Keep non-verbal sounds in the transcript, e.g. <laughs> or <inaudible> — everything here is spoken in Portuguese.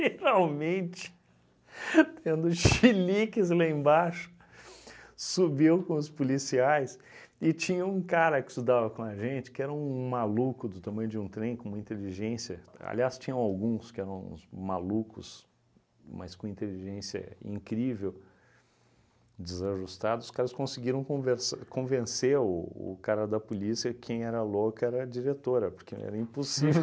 <laughs> Geralmente, tendo cheliques lá embaixo, subiu com os policiais e tinha um cara que estudava com a gente, que era um maluco do tamanho de um trem, com uma inteligência, aliás, tinham alguns que eram uns malucos, mas com inteligência incrível, desajustados, os caras conseguiram convers convencer o o cara da polícia, quem era louco era a diretora, porque era impossível <laughs>